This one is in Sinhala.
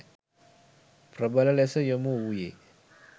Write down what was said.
ප්‍රබල ලෙස යොමු වූයේ